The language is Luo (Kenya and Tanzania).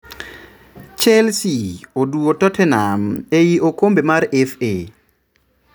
Chelsea oduwo Tottenham ei okombe mar FA.